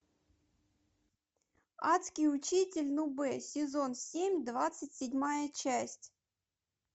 адский учитель нубэ сезон семь двадцать седьмая часть